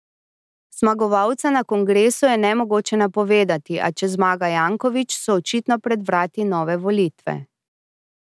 Zmagovalca na kongresu je nemogoče napovedati, a če zmaga Janković, so očitno pred vrati nove volitve.